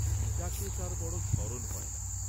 পিতাকে তার বড় স্মরণ হয় না।